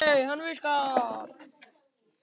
Þú segir alltaf getur verið!